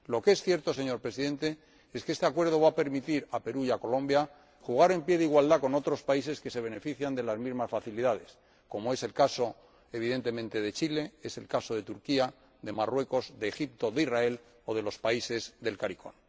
Lo que es cierto, señor Presidente, es que este Acuerdo va a permitir a Perú y a Colombia jugar en pie de igualdad con otros países que se benefician de las mismas facilidades, como es el caso, evidentemente, de Chile, es el caso de Turquía, de Marruecos, de Egipto, de Israel o de los países del CARICOM.